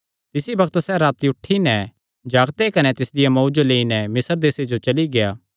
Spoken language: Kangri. तिसी बग्त सैह़ राती उठी नैं जागते कने तिसदिया मांऊ जो लेई नैं मिस्र देसे जो चली गेआ